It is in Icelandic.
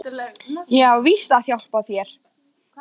Ég á víst að hjálpa þér.